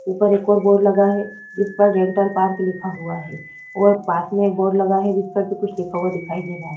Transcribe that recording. ऊपर एक और बोर्ड लगा है उस पर डेंटल पार्क लिखा हुआ है और पास में एक बोर्ड जिस पर भी कुछ लगा हुआ दिखाई दे रहा है।